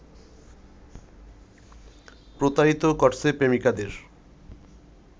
প্রতারিত করছে প্রেমিকাদের